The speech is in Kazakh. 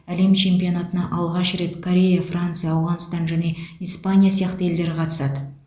әлем чемпионатына алғаш рет корея франция ауғанстан және испания сияқты елдер қатысады